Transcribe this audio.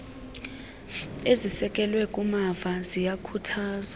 ezisekelwe kumava ziyakhuthazwa